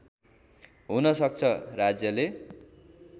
हुन सक्छ राज्यले